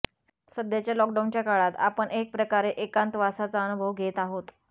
सध्याच्या लॉकडाउनच्या काळात आपण एकप्रकारे एकांतवासाचा अनुभव घेत आहोत